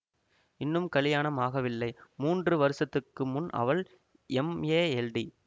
இன்னும் கலியாணம் ஆகவில்லை மூன்று வருஷத்துக்கு முன் அவள் எம்ஏஎல்டி